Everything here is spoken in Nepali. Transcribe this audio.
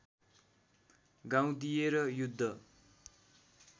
गाउँ दिएर युद्ध